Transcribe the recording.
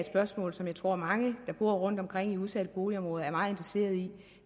spørgsmål som jeg tror at mange der bor rundtomkring i udsatte boligområder er meget interesseret i